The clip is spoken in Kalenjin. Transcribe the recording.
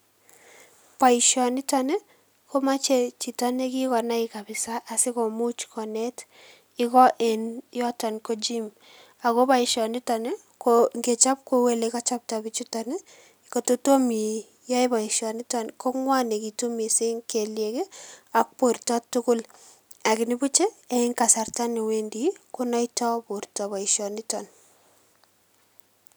Boishoniton komoche chito nekikonai kabisa asikomuch konet iko en yoton ko gym ako boisho niton nii ko ingechop kou ole kochopto bichuton nii ngot kotomo iyoe boishoniton nii kongwonekitu missing kelyekii ak borto tukul ak nibuchii en kasarta newendii konoito borto boishoniton.